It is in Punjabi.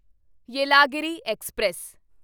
ਯੇਲਾਗਿਰੀ ਐਕਸਪ੍ਰੈਸ